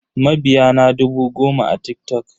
Mabiya na dubu goma a TikTok.